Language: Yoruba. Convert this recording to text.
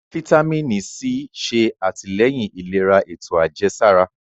Fítámìnì C ṣe àtìlẹ́yìn ìlera ètò àjẹsára.